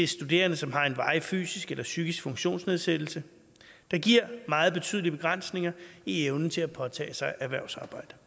studerende som har en varig fysisk eller psykisk funktionsnedsættelse der giver meget betydelige begrænsninger i evnen til at påtage sig erhvervsarbejde